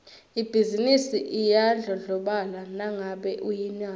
ibhizinisi iyadlondlobala nangabe uyinaka